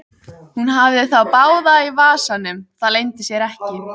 Hún hafði þá báða í vasanum, það leyndi sér ekki.